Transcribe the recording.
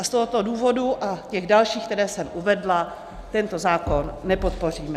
A z tohoto důvodu a těch dalších, které jsem uvedla, tento zákon nepodpoříme.